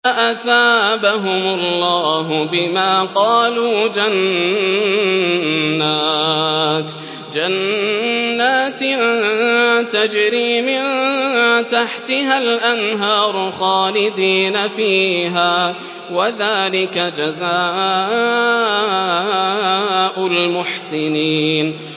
فَأَثَابَهُمُ اللَّهُ بِمَا قَالُوا جَنَّاتٍ تَجْرِي مِن تَحْتِهَا الْأَنْهَارُ خَالِدِينَ فِيهَا ۚ وَذَٰلِكَ جَزَاءُ الْمُحْسِنِينَ